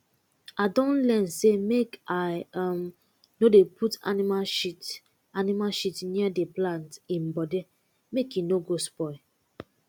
i don learn say make i um no dey put animal shit animal shit near the plant um body make e no go spoil